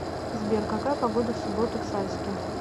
сбер какая погода в субботу в сальске